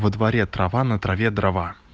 во дворе трава на траве дрова